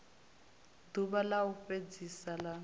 ḓuvha ḽa u fhedzisa ḽa